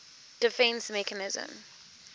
defence mechanism